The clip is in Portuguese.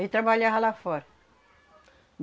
E trabalhava lá fora.